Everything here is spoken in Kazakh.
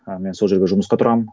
ы мен сол жерге жұмысқа тұрамын